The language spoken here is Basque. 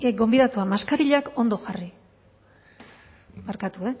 gonbidatuak maskarilak ondo jarri barkatu